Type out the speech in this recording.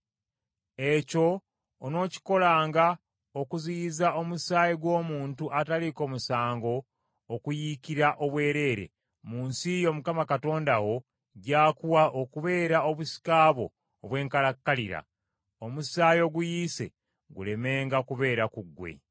Ekyo onookikolanga okuziyiza omusaayi gw’omuntu ataliiko musango okuyiikira obwereere mu nsi yo Mukama Katonda wo gy’akuwa okubeera obusika bwo obw’enkalakkalira, omusaayi oguyiise gulemenga kubeera ku ggwe.